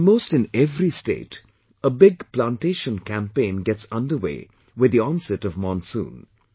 Almost in every state, a big plantation campaign gets underway with the onset of monsoon